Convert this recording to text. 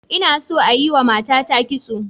Ina so a yiwa matata kitso.